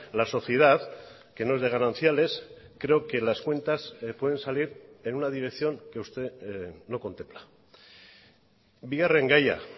la sociedad que no es de gananciales creo que las cuentas pueden salir en una dirección que usted no contempla bigarren gaia